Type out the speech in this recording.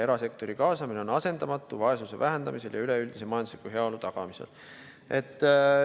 Erasektori kaasamine on asendamatu nii vaesuse vähendamisel kui ka üleüldise majandusliku heaolu tagamisel.